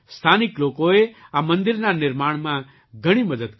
સ્થાનિક લોકોએ આ મંદિરના નિર્માણમાં ઘણી મદદ કરી છે